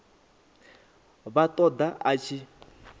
vha ṱo ḓa a tshi